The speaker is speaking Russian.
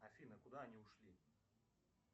афина куда они ушли